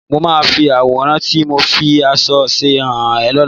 Mo máa fi àwòrán tí mo fi àmọ̀ ṣe hàn ẹ́ lọ́la